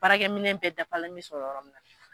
Baarakɛ minɛ bɛ dafalen bɛ sɔrɔ yɔrɔ min na.